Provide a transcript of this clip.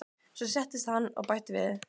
Svo settist hann og bætti við